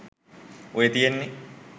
ඔය තියෙන්නේ